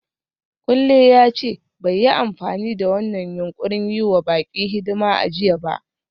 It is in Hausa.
Kunle ya ce bai yi amfani da wannan yunƙurin yi wa baƙi hidima a jiya ba.